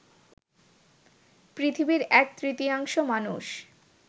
পৃথিবীর এক তৃতীয়াংশ মানুষ